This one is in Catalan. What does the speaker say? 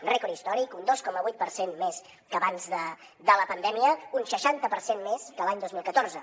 rècord històric un dos coma vuit per cent més que abans de la pandèmia un seixanta per cent més que l’any dos mil catorze